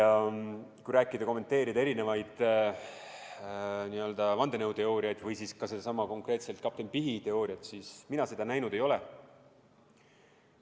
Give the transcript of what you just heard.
Kui kommenteerida erinevaid vandenõuteooriaid või siis ka konkreetselt sedasama kapten Pihti teooriat, siis mina seda telepilti näinud ei ole.